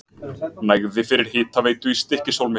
Nægði fyrir hitaveitu í Stykkishólmi.